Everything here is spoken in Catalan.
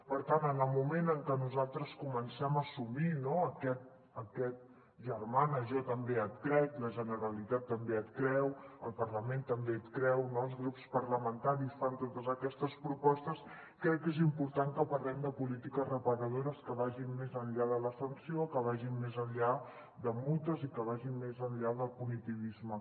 per tant en el moment en què nosaltres comencem a assumir aquest germana jo també et crec la generalitat també et creu el parlament també et creu no els grups parlamentaris fan totes aquestes propostes crec que és important que parlem de polítiques reparadores que vagin més enllà de la sanció que vagin més enllà de multes i que vagin més enllà del punitivisme